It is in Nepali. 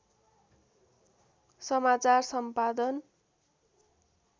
समाचार सम्पादन